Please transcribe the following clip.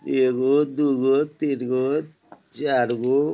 ए गो दू गो तीन गो चार गो --